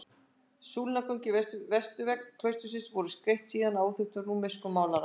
Súlnagöngin við vesturvegg klaustursins voru skreytt síðar af óþekktum rúmenskum málara.